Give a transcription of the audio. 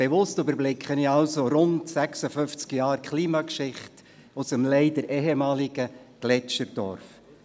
Bewusst überblicke ich rund 56 Jahre Klimageschichte des leider ehemaligen Gletscherdorfs.